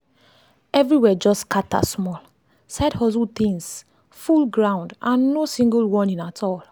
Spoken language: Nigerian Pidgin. everywhere just scatter small—side hustle things full hustle things full ground and no single warning at all.